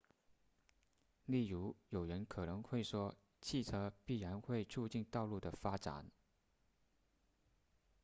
例如有人可能会说汽车必然会促进道路的发展